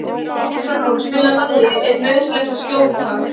Frán, spilaðu lagið „Er nauðsynlegt að skjóta“.